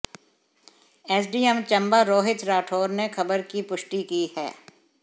SDM Chamba Rohit Rathore ने खबर की पुष्टि की है